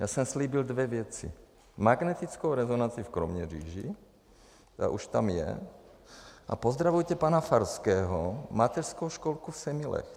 Já jsem slíbil dvě věci: magnetickou rezonanci v Kroměříži, ta už tam je, a pozdravujte pana Farského, mateřskou školku v Semilech.